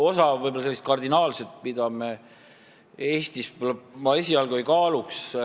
Osa on sellised kardinaalsed, neid me Eestis võib-olla esialgu ei kaaluks.